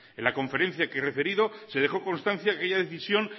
en la conferencia que he referido se dejó constancia que aquella decisión